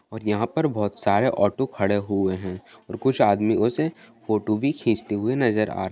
यहाँ पर बोहोत सरे ऑटो खड़े हुए है कुछ आदमी उसे फोटो खींचते हुए नजर आ रहे है |